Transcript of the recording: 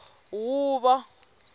huvo